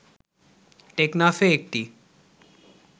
টেকনাফে একটি